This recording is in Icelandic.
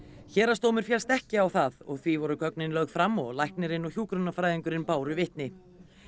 héraðsdómur féllst ekki á það og því voru gögnin lögð fram og læknirinn og hjúkrunarfræðingurinn báru vitni